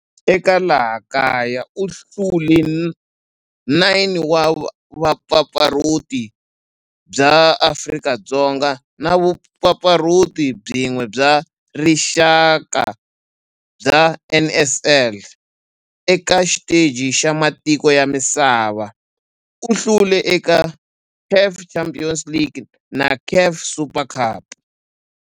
Eka laha kaya u hlule 9 wa vumpfampfarhuti bya Afrika-Dzonga na vumpfampfarhuti byin'we bya rixaka bya NSL. Eka xiteji xa matiko ya misava, u hlule eka CAF Champions League na CAF Super Cup.